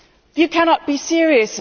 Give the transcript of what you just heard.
You cannot be serious.